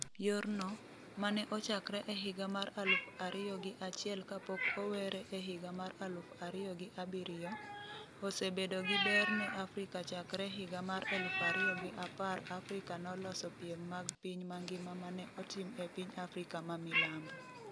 Yorno, mane ochakre e higa mar aluf ariyo gi achiel kapok owere e higa mar aluf ariyo gi abiriyo, osebedo gi ber ne Afrika chakre e higa mar 2010 Afrika noloso piem mag piny mangima mane otim e piny Afrika ma Milambo.